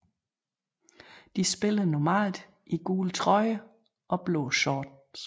De spiller normalt i gule trøjer og blå short